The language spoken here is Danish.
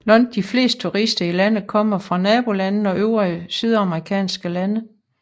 Langt de fleste turister i landet kommer fra nabolandene og øvrige sydamerikanske lande